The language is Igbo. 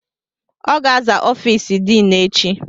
Ọ ga-aza ọfiisi diinu echi.